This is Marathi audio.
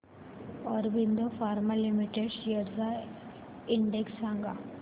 ऑरबिंदो फार्मा लिमिटेड शेअर्स चा इंडेक्स सांगा